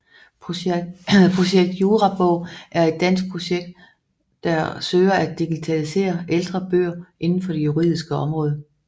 Projekt Jurabog er et dansk projekt der søger at digitalisere ældre bøger indenfor det juridiske område